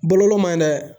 Boloko man ɲi dɛ